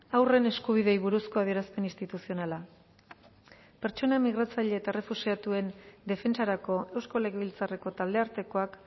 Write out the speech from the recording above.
haurren eskubideei buruzko adierazpen instituzionala pertsona migratzaile eta errefuxiatuen defentsarako eusko legebiltzarreko taldeartekoak